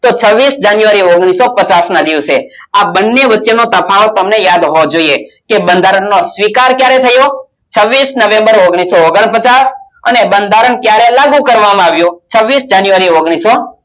છવીસ january ઓગણીસો પચાસ ના દિવસે આ બંને વચ્ચેનો તફાવત તમને યાદ હોવો જોઈએ કે બંધારણનો સ્વીકાર ક્યારે થયો છવીસ november ઓગણીસો ઓગણપચાસ અને બંધારણ ક્યારે લાગુ કરવામાં આવ્યો છવીસ january ઓગણીસો તો છવીસ january ઓગણીસો